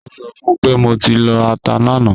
Mo sọ fun pe mo ti lọ ata lana